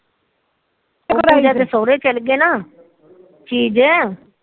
ਕ ਸੋਹਰੇ ਚਲ ਗੇ ਨਾ